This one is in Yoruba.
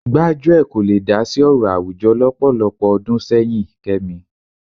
Gbájúẹ̀ kò le dá sí ọ̀rọ̀ àwùjọ lọ́pọ̀lọpọ̀ ọdún sẹ́yìn Kẹ́mi